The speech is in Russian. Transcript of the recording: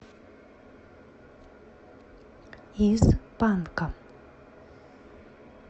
из панка